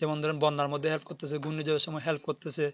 যেমন ধরেন বন্দর মধ্যে Aad করতেছে ঘূর্ণি ঝড়ের সময় Help করতেছে